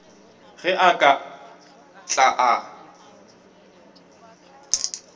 ge a ka tla a